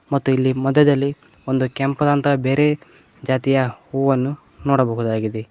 ಮತ್ತು ಇಲ್ಲಿ ಮಧ್ಯದಲ್ಲಿ ಒಂದು ಕೆಂಪದಾದಂತಹ ಬೇರೆ ಜಾತಿಯ ಹೂವನ್ನು ನೋಡಬಹುದು.